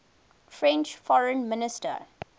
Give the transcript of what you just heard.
french foreign minister